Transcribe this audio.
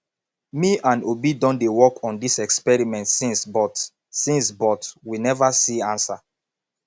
me and obi don dey work on dis experiment since but since but we never see answer